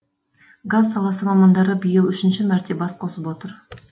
газ саласы мамандары биыл үшінші мәрте бас қосып отыр